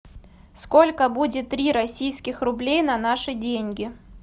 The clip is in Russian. сколько будет три российских рублей на наши деньги